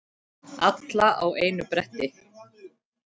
Alla á einu bretti.